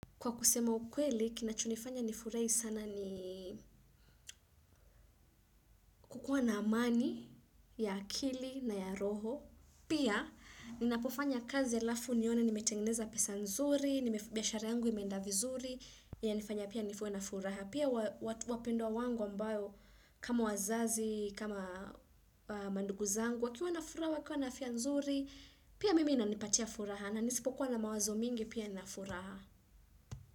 Kwa kusema ukweli, kinachonifanya nifurahi sana ni kukuwa na amani, ya akili na ya roho. Pia, ninapofanya kazi alafu nione, nimetengeneza pesa nzuri, biashara yangu imeenda vizuri, yanifanya pia nifuwe na furaha. Pia, wapendwa wangu ambao, kama wazazi, kama mandugu zangu, wakiwa na furaha, wakiwa na afya nzuri, pia mimi inanipatia furaha. Na nisipokuwa na mawazo mingi, pia nina furaha.